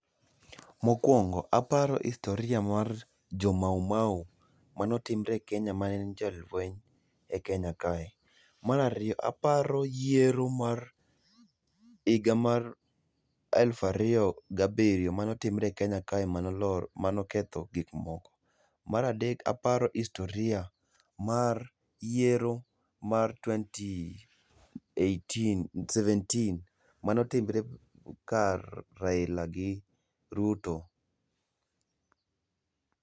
Mokwongo, aparo historia mar jomaumau mano timre e Kenya mane en jolweny e Kenya kae. Marario, aparo yiero mar iga mar eluf ario gabrio manotimre e Kenya kae manolor manoketho gikmoko. Maradek aparo istoria mar yiero mar twenty eighteen seventeen mano timre kar Raila gi Ruto.